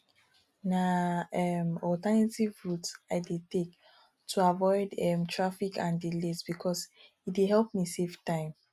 na um alternative routes i dey take to avoid um traffic and delays because e dey help me save time